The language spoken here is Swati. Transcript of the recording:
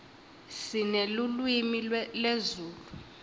sinelulwimi lezulu